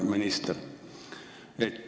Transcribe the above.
Hea minister!